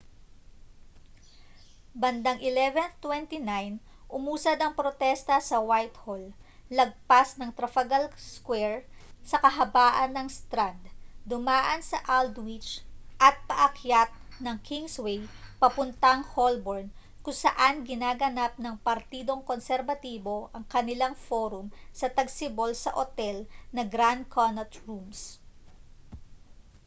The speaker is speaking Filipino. bandang 11:29 umusad ang protesta sa whitehall lagpas ng trafalgar square sa kahabaan ng strand dumaan sa aldwych at paakyat ng kingsway papuntang holborn kung saan ginaganap ng partidong konserbatibo ang kanilang forum sa tagsibol sa otel na grand connaught rooms